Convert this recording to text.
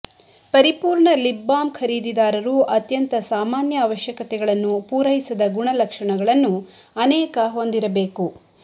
ಪರಿಪೂರ್ಣ lip balm ಖರೀದಿದಾರರು ಅತ್ಯಂತ ಸಾಮಾನ್ಯ ಅವಶ್ಯಕತೆಗಳನ್ನು ಪೂರೈಸದ ಗುಣಲಕ್ಷಣಗಳನ್ನು ಅನೇಕ ಹೊಂದಿರಬೇಕು